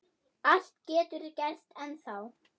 Allt getur gerst ennþá.